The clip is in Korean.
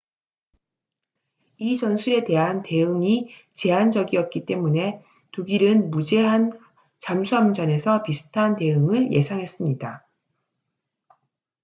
이 전술에 대한 대응이 제한적이었기 때문에 독일은 무제한 잠수함전에서 비슷한 대응을 예상했습니다